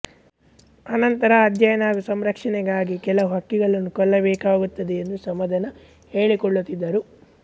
ಆನಂತರ ಅಧ್ಯಯನ ಹಾಗೂ ಸಂರಕ್ಷಣೆಗಾಗಿ ಕೆಲವು ಹಕ್ಕಿಗಳನ್ನು ಕೊಲ್ಲಬೇಕಾಗುತ್ತದೆ ಎಂದು ಸಮಾಧಾನ ಹೇಳಿಕೊಳ್ಳುತ್ತಿದ್ದರು